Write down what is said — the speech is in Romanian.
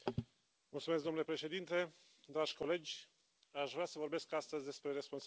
Domnule președinte, dragi colegi, aș vrea să vorbesc astăzi despre responsabilități.